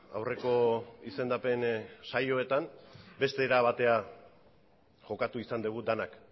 aurreko izendapen saioetan beste era batera jokatu izan dugu denak